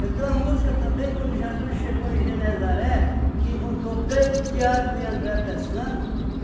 Eu tenho uma música também, quando Jesus chegou em Genesaré, que encontrou Pedro, Tiago e André pescando.